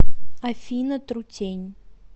афина трутень